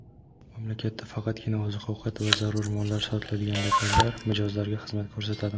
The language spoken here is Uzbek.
Mamlakatda faqatgina oziq-ovqat va zarur mollar sotiladigan do‘konlar mijozlarga xizmat ko‘rsatadi.